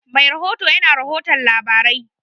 Mai bada rahoto ya na rahoton labarai